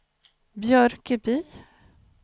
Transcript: Björköby